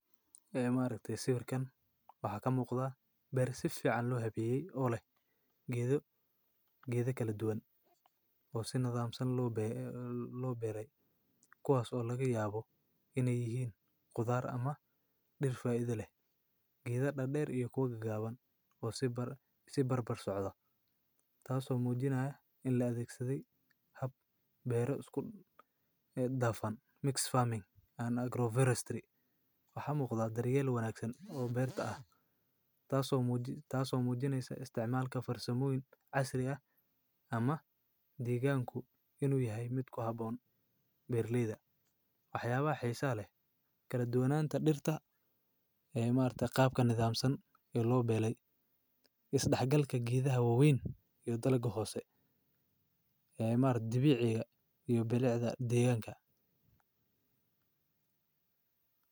Ceymar kaddib si warkaan waxaa kamuu u qadaa bari si ficil loo xiray olay geedo geedo kala duwan oo si nidaam san loo biro loo belay kuwaasoo laga yaabo inay yihiin gudaar ama dhirta idle, geeda dha dheer iyo koga gaaban oo sii bar isu bar bar socda, taasoo muujinaya in la tiksaday hab beero isku eed dafan. Mix farming and agroforestry waxaa muuqda daryeelo wanaagsan oo beerta ah taaso muuji taaso muujinaysa isticmaalka farso-muyin casri ah ama deegaanku inuu yahay midka haboon beer leeda. Waxyaabaha xisaale kala duwanaanta dhirta ceymarta qaabka nidaam san ee loo belay is dhexgalka giidhaha waaweyn iyo talo gohoose. Ceymar dabiiciga iyo beleecda deegaanka.